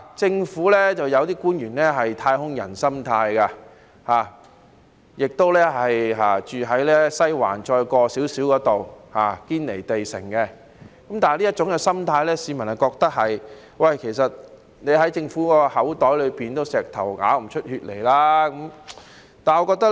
政府有部分官員不知是抱持"太空人"心態，還是居住於離西環遠一點點的"堅尼地城"般，致令市民認為要從政府口袋裏面拿到錢，仿如要從石頭擠血一樣。